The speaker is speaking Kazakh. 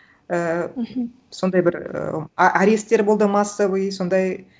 ііі мхм сондай бір і аресттер болды массовый сондай